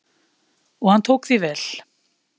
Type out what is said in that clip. Og hann tók því vel.